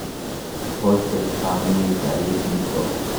Po Cheptanui karit nitok.